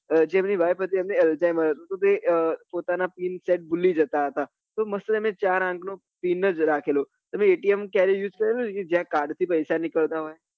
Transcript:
જે એમની wife હતી એમને એ પોતાના pin set ભૂલી જતા હતા તો ચાર અંક નો pin જ રાખેલો તમે atm ક્યારે use કરેલું જ્યાં card થી પૈસા નીકળતા હોય